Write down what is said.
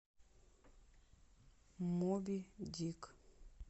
моби дик